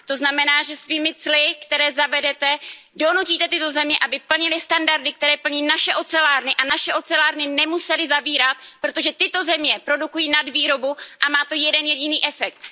To znamená, že svými cly, která zavedete, donutíte tyto země, aby plnily standardy, které plní naše ocelárny. A naše ocelárny nemusely zavírat, protože tyto země produkují nadvýrobu a má to jeden jediný efekt.